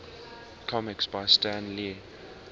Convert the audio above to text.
comics by stan lee